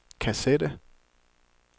kassette